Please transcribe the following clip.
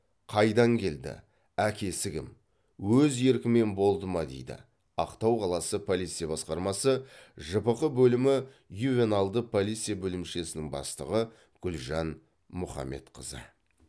қайдан келді әкесі кім өз еркімен болды ма дейді ақтау қаласы полиция басқармасы жпқ бөлімі ювеналды полиция бөлімшесінің бастығы гүлжан мұхамбетқызы